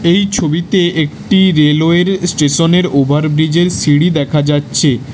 এই ছবিতে একটি রেলওয়ের স্টেশনের ওভার ব্রীজের সিঁড়ি দেখা যাচ্ছে।